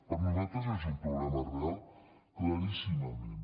per a nosaltres és un problema real claríssimament